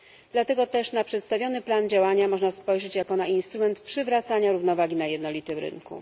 Dlatego też na przedstawiony plan działania można spojrzeć jako na instrument przywracania równowagi na jednolitym rynku.